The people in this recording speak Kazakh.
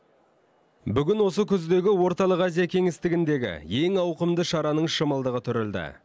бүгін осы күздегі орталық азия кеңістігіндегі ең ауқымды шараның шымылдығы түрілді